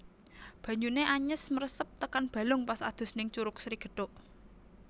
Banyune anyes mresep tekan balung pas adus ning Curug Sri Gethuk